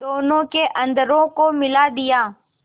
दोनों के अधरों को मिला दिया